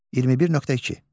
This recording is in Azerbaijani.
21.2.